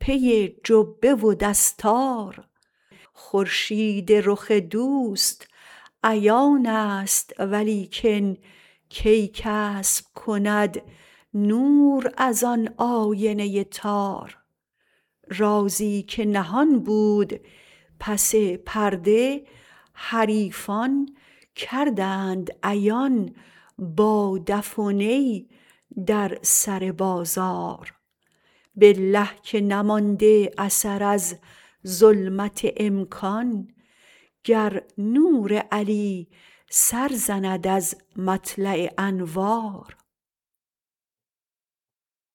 پی جبه و دستار خورشید رخ دوست عیانست ولیکن کی کسب کند نور ازآن آینه تار رازی که نهان بود پس پرده حریفان کردند عیان با دف و نی در سر بازار بالله که نمانده اثر از ظلمت امکان گر نور علی سر زند از مطلع انوار